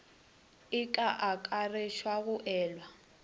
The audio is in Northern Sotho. e ka akaretša go elwa